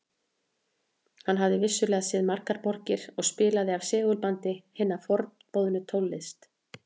Hann hafði vissulega séð margar borgir og spilaði af segulbandi hina forboðnu tónlist